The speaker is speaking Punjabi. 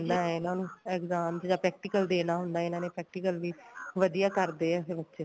ਰਹਿੰਦਾ ਇਹਨਾ ਨੂੰ exam ਚ ਜਾਂ practical ਦੇਣਾ ਹੁੰਦਾ practical ਵੀ ਵਧੀਆ ਕਰਦੇ ਏ ਫੇਰ ਬੱਚੇ